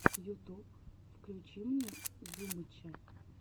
ютуб включи мне зумыча